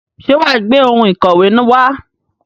Ṣé wà á gbé àwọn ohun ìkọ̀wé wá?